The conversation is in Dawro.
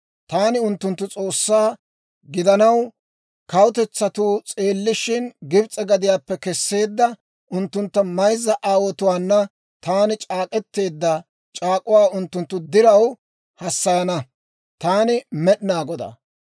Taani unttunttu S'oossaa gidanaw, kawutetsatuu s'eellishin, Gibs'e gadiyaappe Kesseedda unttunttu mayza aawotuwaana taani c'aak'k'eteedda c'aak'uwaa unttunttu diraw hassayana. Taani Med'inaa Godaa.